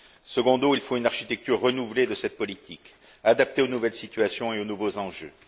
Secundo, il faut une architecture renouvelée de cette politique, adaptée aux nouvelles situations et aux nouveaux enjeux.